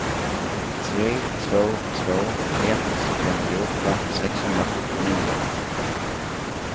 tre två två ett femtioåtta sexhundrasjuttionio